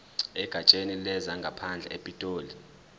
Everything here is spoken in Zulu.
egatsheni lezangaphandle epitoli